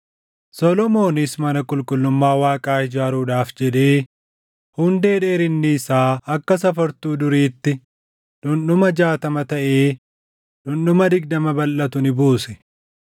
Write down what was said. Solomoonis mana qulqullummaa Waaqaa ijaaruudhaaf jedhee hundee dheerinni isaa akka safartuu duriitti dhundhuma jaatama taʼee dhundhuma digdama balʼatu ni buuse.